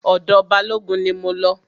Ọ̀dọ̀ Balógun ni mo lọ.